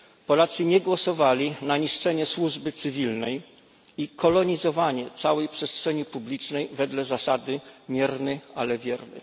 Polacy nie głosowali na niszczenie służby cywilnej i kolonizowanie całej przestrzeni publicznej wedle zasady mierny, ale wierny.